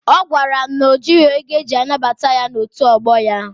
Ọ gwara m na o jịghị ego eji anabata ya n'otu ọgbọ ya.